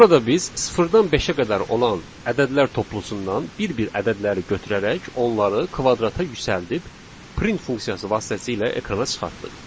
Burada biz sıfırdan beşə qədər olan ədədlər toplusundan bir-bir ədədləri götürərək onları kvadrata yüksəldib print funksiyası vasitəsilə ekrana çıxartdıq.